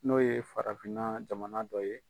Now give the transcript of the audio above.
N'o ye farafinna jamana dɔ ye.